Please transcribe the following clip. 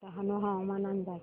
डहाणू हवामान अंदाज